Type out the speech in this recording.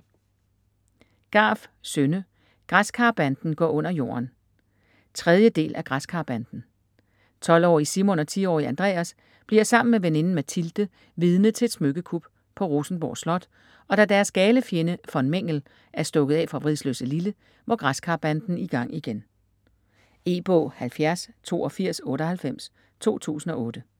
Garff, Synne: Græskarbanden går under jorden 3. del af Græskarbanden. 12-årige Simon og 10-årige Andreas bliver sammen med veninden Mathilde vidne til et smykkekup på Rosenborg slot, og da deres gale fjende von Mängel er stukket af fra Vridsløselille, må Græskarbanden i gang igen. E-bog 708298 2008.